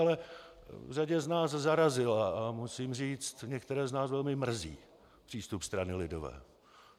Ale řadu z nás zarazil, a musím říct, některé z nás velmi mrzí, přístup strany lidové.